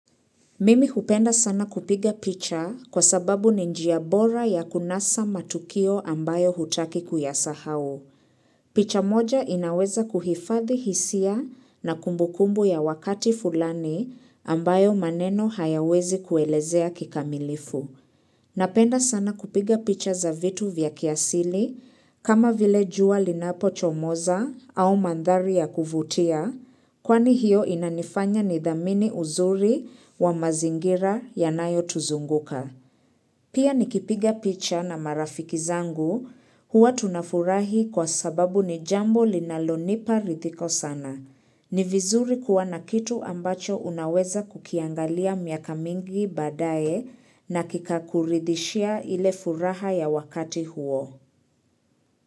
Mimi hupenda sana kupiga picha kwa sababu ni ni njia bora ya kunasa matukio ambayo hutaki kuyasahau. Picha moja inaweza kuhifadhi hisia na kumbukumbu ya wakati fulani ambayo maneno hayawezi kuelezea kikamilifu. Napenda sana kupiga picha za vitu vya kiasili kama vile jua linapochomoza au mandhari ya kuvutia kwani hiyo inanifanya nidhamini uzuri wa mazingira yanayotuzunguka. Pia nikipiga picha na marafiki zangu huwa tunafurahi kwa sababu ni jambo linalonipa ridhiko sana. Ni vizuri kuwa na kitu ambacho unaweza kukiangalia miaka mingi baadaye na kikakuridhishia ile furaha ya wakati huo.